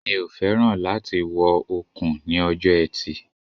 The bracelet looks beautiful on her wrist